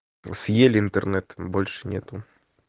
ну съели интернет больше нету